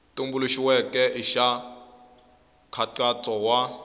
tumbuluxiweke i xa nkhaqato wa